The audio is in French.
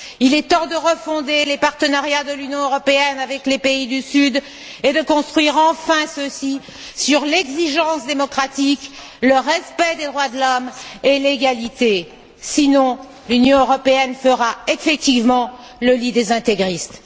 Il est temps de refonder les partenariats de l'Union européenne avec les pays du Sud et de construire enfin ceux ci sur l'exigence démocratique, le respect des droits de l'homme et l'égalité, sinon l'Union européenne fera effectivement le lit des intégristes.